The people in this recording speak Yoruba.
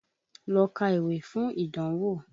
Lọ ka ìwé fún ìdánwò!